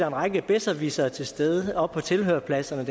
en række besserwissere til stede oppe på tilhørerpladserne